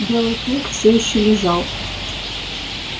белый клык все ещё лежал